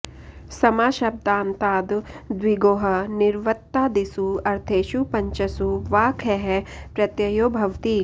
समाशब्दान्ताद् द्विगोः निर्वृत्तादिसु अर्थेषु पञ्चसु वा खः प्रत्ययो भवति